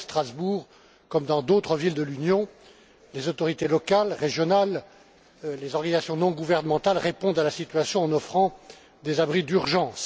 Ici, à Strasbourg, comme dans d'autres villes de l'Union, les autorités locales, régionales, les organisations non gouvernementales répondent à la situation en offrant des abris d'urgence.